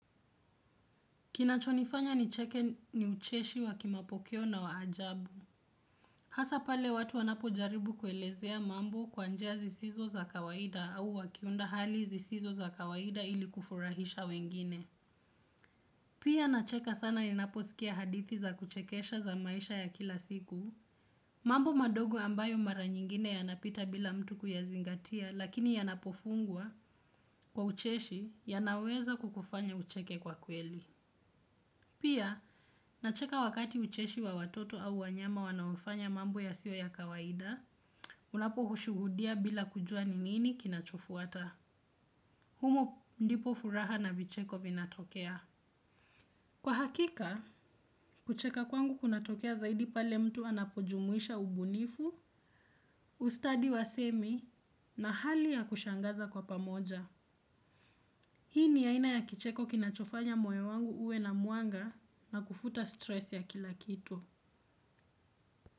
Kinachonifanya nicheke ni ucheshi wa kimapokeo na waajabu. Hasa pale watu wanapo jaribu kuelezea mambo kwa njia zisizo za kawaida au wakiunda hali zisizo za kawaida ili kufurahisha wengine. Pia nacheka sana ninaposikia hadithi za kuchekesha za maisha ya kila siku. Mambo madogo ambayo mara nyingine yanapita bila mtu kuyazingatia lakini yanapofungwa kwa ucheshi yanaweza kukufanya ucheke kwa kweli. Pia, nacheka wakati ucheshi wa watoto au wanyama wanaofanya mambo yasiyo ya kawaida, unapo ushuhudia bila kujua ni nini kinachofuata. Humo ndipo furaha na vicheko vinatokea. Kwa hakika, kucheka kwangu kunatokea zaidi pale mtu anapojumuisha ubunifu, ustadi wa semi na hali ya kushangaza kwa pamoja. Hii ni aina ya kicheko kinachofanya moyo wangu uwe na mwanga na kufuta stress ya kila kitu.